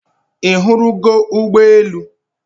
I hụrụ go Ugbe elu?